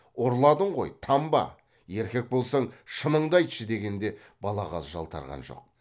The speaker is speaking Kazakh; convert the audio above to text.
ұрладың ғой танба еркек болсаң шыныңды айтшы дегенде балағаз жалтарған жоқ